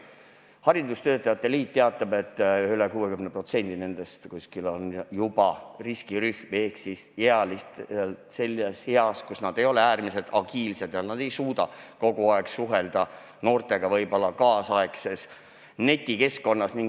Eesti Haridustöötajate Liit teatab, et neist üle 60% on juba riskirühm ehk on sellises eas, kus nad ei ole enam niivõrd agiilsed ega suuda võib-olla kogu aeg suhelda noortega tänapäevases netikeskkonnas.